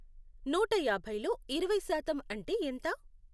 నూటయాభైలో ఇరవై శాతం అంటే ఎంత?